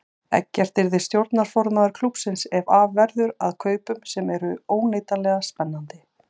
Eggert yrði stjórnarformaður klúbbsins ef af verður að kaupunum sem eru óneitanlega spennandi.